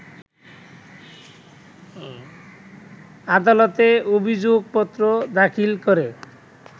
আদালতে অভিযোগপত্র দাখিল করে